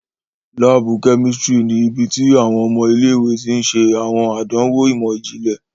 Laabu kẹ́místrì ní ibití awọn ọmọ ilé-ìwé tí n ṣe awọn àdánwò imọ-jinlẹ